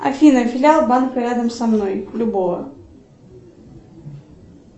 афина филиал банка рядом со мной любого